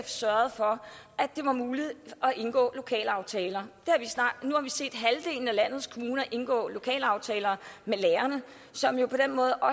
sørgede for at det var muligt at indgå lokalaftaler nu har vi set halvdelen af landets kommuner indgå lokalaftaler med lærerne som jo